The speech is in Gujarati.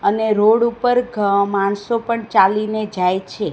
અને રોડ ઉપર ઘ માણસો પણ ચાલીને જાય છે.